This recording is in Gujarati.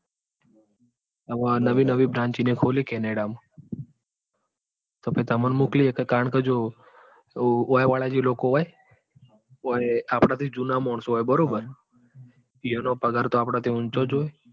હવે આ નાવી નવી branch એની ખોલી કેનેડા માં. તો પહિ તમોં મોકલી એક કારણ કે જો ઓય વાળા જ લોકો હોય ઓય આપડા થી જુના મોનસો હોય બરોબર ઈઓનો પગાર તો આપડા થી ઊંચો જ હોય.